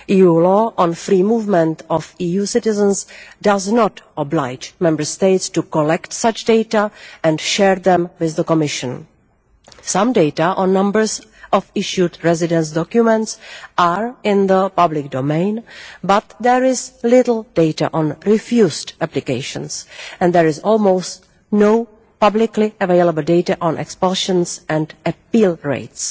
EU law on free movement of EU citizens does not oblige Member States to collect such data and share them with the Commission. Some data on numbers of issued residence documents are in the public domain, but there is little data on refused applications, and there is almost no publicly available data on expulsions and appeal rates.